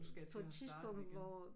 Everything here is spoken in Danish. Nu skal jeg til at starte igen